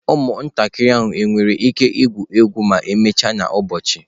Ụmụntakịrị ahụ nwere ike igwu egwu ma emechaa n'ụbọchị?